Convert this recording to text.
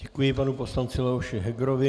Děkuji panu poslanci Leoši Hegerovi.